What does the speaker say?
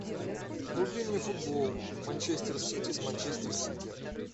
вруби мне футбол манчестер сити с манчестер сити